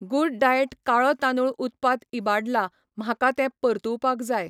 Good diet काळो तांदूळ उत्पाद इबाडला, म्हाका तें परतुवपाक जाय.